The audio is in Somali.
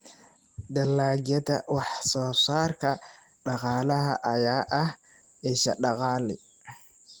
Dalagyada wax-soo-saarka dhaqaalaha ayaa ah isha dakhli.